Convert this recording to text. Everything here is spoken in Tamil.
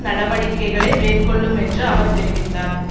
நடவடிக்கைகளை மேற்கொள்ளும் என்று அவர் தெரிவித்தார்